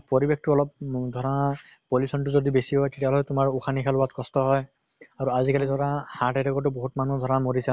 পৰিবেশ টো অলপ উম ধৰা pollution টো যদি বেছি হয় তেতিয়াহʼলে তোমাৰ উসাহ নিসাহ লোৱাত কষ্ট হয় আৰু আজি কালি ধৰা heart attack টো বহুত মানুহ ধৰা মৰিছে